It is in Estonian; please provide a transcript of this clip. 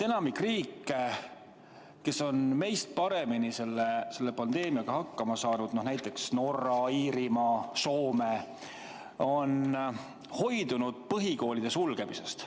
Enamik riike, kes on meist paremini selle pandeemiaga hakkama saanud, näiteks Norra, Iirimaa, Soome, on hoidunud põhikoolide sulgemisest.